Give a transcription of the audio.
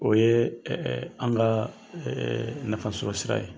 O ye an ka nafa sɔrɔ sira ye.